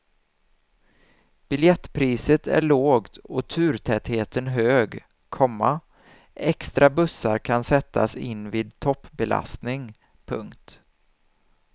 Biljettpriset är lågt och turtätheten hög, komma extra bussar kan sättas in vid toppbelastning. punkt